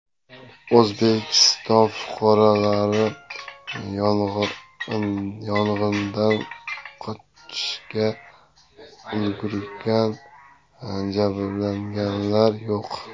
O‘zbekiston fuqarolari yong‘indan qochishga ulgurgan, jabrlanganlar yo‘q.